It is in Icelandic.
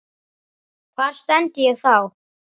Hvar stend ég þá?